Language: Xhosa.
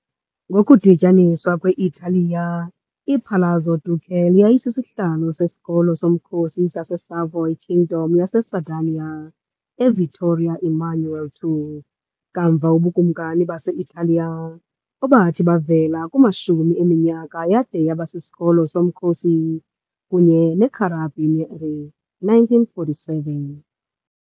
Ngokudityaniswa kwe-Italiya, iPalazzo Ducale yayisisihlalo sesikolo somkhosi saseSavoy Kingdom yaseSardinia yaseVittorio Emanuele II, kamva uBukumkani base-Italiya, obathi bavela kumashumi eminyaka yade yaba siSikolo soMkhosi soMkhosi kunye neCarabinieri e. 1947.